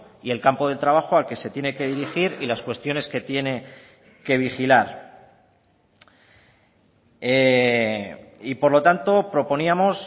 y el campo de trabajo al que se tiene que dirigir y las cuestiones que tiene que vigilar y por lo tanto proponíamos